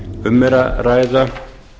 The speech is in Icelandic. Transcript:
um er að ræða